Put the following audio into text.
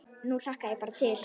Nú hlakka ég bara til.